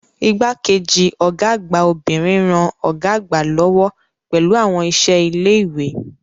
Igbá-kejì Ọ̀gá àgbà obìnrin ń ran Ọ̀gá àgbà lọ́wọ́ pẹ̀lú àwọn iṣẹ́ ilé ìwé